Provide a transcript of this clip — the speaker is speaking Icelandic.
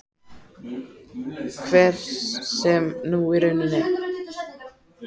Hver sem hún í rauninni er.